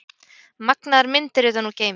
Magnaðar myndir utan úr geimi